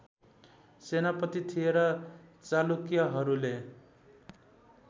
सेनापति थिए र चालुक्यहरूले